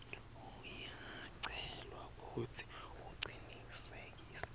uyacelwa kutsi ucinisekise